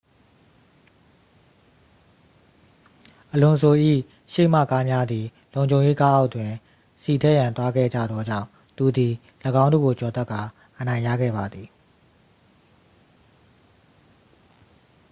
အလွန်ဆို ၏ရှေ့မှကားများသည် လုံခြုံရေးကားအောက်တွင် ဆီထည့်ရန်သွားခဲ့ကြသောကြောင့် သူသည် ၎င်းတို့ကိုကျော်တက်ကာ အနိုင်ရခဲ့ပါသည်